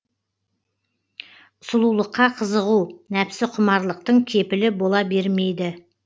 сұлулыққа қызығу нәпсі құмарлықтың кепілі бола бермейді